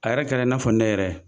A yɛrɛ kɛra i n'a fɔ ne yɛrɛ